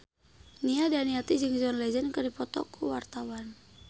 Nia Daniati jeung John Legend keur dipoto ku wartawan